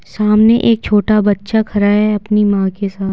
सामने एक छोटा बच्चा खड़ा है अपनी मां के साथ।